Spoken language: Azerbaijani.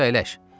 Buyur, əyləş.